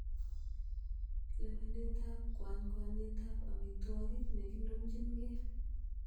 Lewenetab kwanykwanyetab amitwogik nekinomchin gee.